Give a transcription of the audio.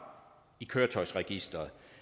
i køretøjsregisteret